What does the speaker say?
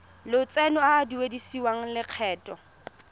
lotseno a a duedisiwang lokgetho